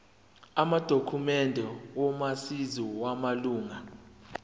amadokhumende omazisi wamalunga